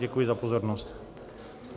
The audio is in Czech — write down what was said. Děkuji za pozornost.